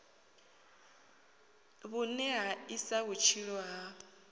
vhune ha isa vhutshilo ha